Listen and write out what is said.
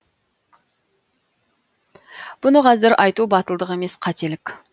бұны қазір айту батылдық емес қателік